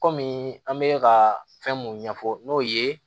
Kɔmi an bɛ ka fɛn mun ɲɛfɔ n'o ye